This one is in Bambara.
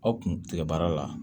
Aw kun tigɛ baara la